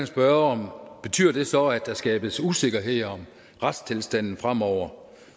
spørge betyder det så at der skabes usikkerhed om retstilstanden fremover